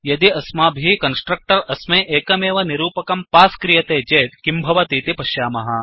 यदि अस्माभिः कन्स्ट्रक्टर् अस्मै एकमेव निरूपकं पास् क्रियते चेत् किं भवतीति पश्यामः